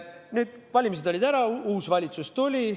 Nüüd, valimised olid ära, uus valitsus tuli.